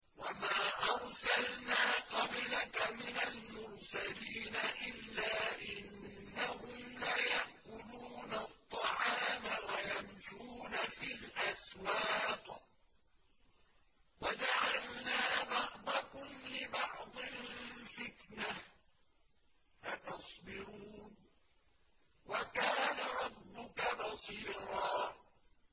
وَمَا أَرْسَلْنَا قَبْلَكَ مِنَ الْمُرْسَلِينَ إِلَّا إِنَّهُمْ لَيَأْكُلُونَ الطَّعَامَ وَيَمْشُونَ فِي الْأَسْوَاقِ ۗ وَجَعَلْنَا بَعْضَكُمْ لِبَعْضٍ فِتْنَةً أَتَصْبِرُونَ ۗ وَكَانَ رَبُّكَ بَصِيرًا